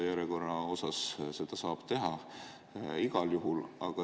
Järjekorra puhul saab seda teha igal juhul.